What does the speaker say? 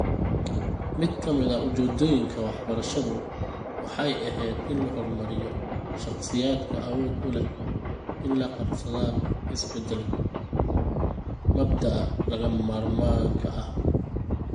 Mid ka mid ah ujeedooyinka waxbarashadu waxay ahayd in la horumariyo shakhsiyaadka awood u leh inay la qabsadaan isbeddelka (mabda'a lagama maarmaanka ah).